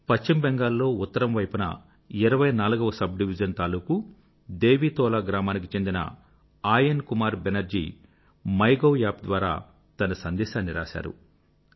పశ్చిమ బెంగాల్ లో ఉత్తరం వైపున 24వ సబ్ డివిజన్ తాలూకూ దేవీతోలా గ్రామానికి చెందిన Ayan Kumar Banerjee MyGov app ద్వారా తన సందేశాన్ని రాశారు